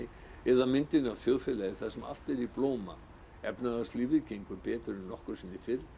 eða myndin af þjóðfélagi þar sem allt er í blóma efnahagslífið gengur betur en nokkru sinni